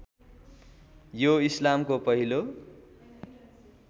यो इस्लामको पहिलो